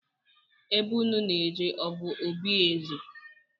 Ebe unu na-eje ọ bụ obi eze?